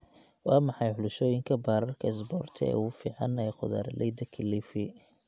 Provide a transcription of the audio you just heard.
Waa maxay xulashooyinka baararka isboorti ee ugu fiican ee khudaarleyda Kilifi?